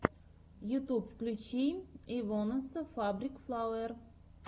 ютуб включи эйвонесса фабрик флауэр